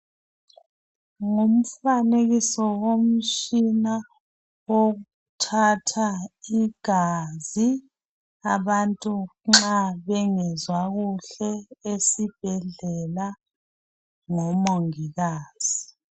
Ngumfanekiso womtshina wokuthatha igazi abantu nxa bengezwa kuhle esibhedlela ngomongikazi.